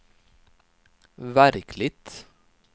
verkligt